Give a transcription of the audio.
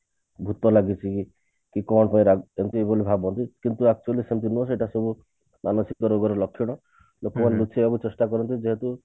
ଭୁତ ଲାଗୁଛି କି କଣ ଏମତି ସବୁ ଭାବନ୍ତି କିନ୍ତୁ actually ସେମତି ନୁହଁ ସେଟା ସେଇ ମାନସିକ ରୋଗର ଲକ୍ଷଣ ଲୋକମାନେ ଲୁଚେଇବାକୁ ଚେଷ୍ଟା କରନ୍ତି ଯେହେତୁ